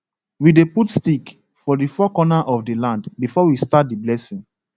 we dey put stick for the four corner of the land before we start the blessing